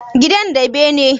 Gidan da bene?